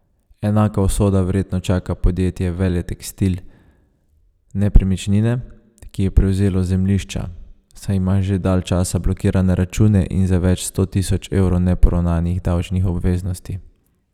Enaka usoda verjetno čaka podjetje Veletekstil Nepremičnine, ki je prevzelo zemljišča, saj ima že dalj časa blokirane račune in za več sto tisoč evrov neporavnanih davčnih obveznosti.